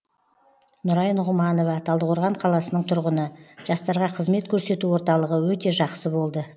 нұрай нұғыманова талдықорған қаласының тұрғыны жастарға қызмет көрсету орталығы өте жақсы болды